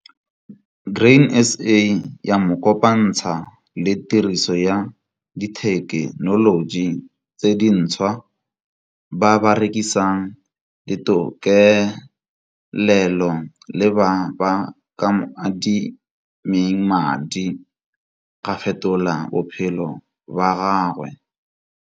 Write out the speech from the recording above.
Grain SA ya mo kopantsha le tiriso ya dithekenoloji tse dintshwa, ba ba rekisang ditokelelo le ba b aka mo adimeng madi ga fetola bophelo ba gagwe.